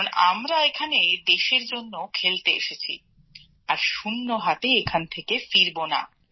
কারণ আমরা এখানে দেশের জন্য খেলতে এসেছি আর শূন্য হাতে এখান থেকে ফিরব না